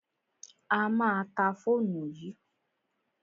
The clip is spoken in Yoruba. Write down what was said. A má a ta fóòmù yìí.